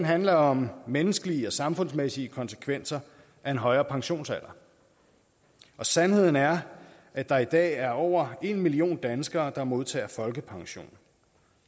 handler om menneskelige og samfundsmæssige konsekvenser af en højere pensionsalder sandheden er at der i dag er over en million danskere der modtager folkepension